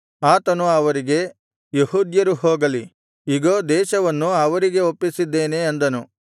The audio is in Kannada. ಆತನು ಅವರಿಗೆ ಯೆಹೂದ್ಯರು ಹೋಗಲಿ ಇಗೋ ದೇಶವನ್ನು ಅವರಿಗೆ ಒಪ್ಪಿಸಿದ್ದೇನೆ ಅಂದನು